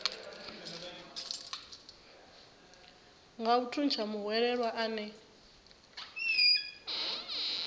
a nga thuntsha muhwelelwa ane